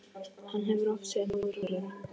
Hann hefur oft séð móður Klöru.